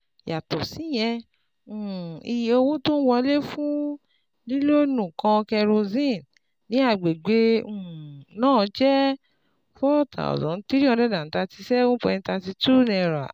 Yàtọ̀ síyẹn, um iye owó tó ń wọlé fún lílọ́ọ̀nù kan kérosínì ní àgbègbè um náà jẹ́ N four thousand three hundred thirty seven point three two.